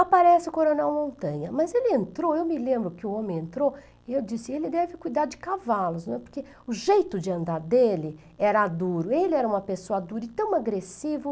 Aparece o coronel Montanha, mas ele entrou, eu me lembro que o homem entrou e eu disse, ele deve cuidar de cavalos, né, porque o jeito de andar dele era duro, ele era uma pessoa dura e tão agressivo.